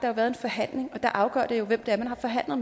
har været en forhandling og det afgørende jo hvem man har forhandlet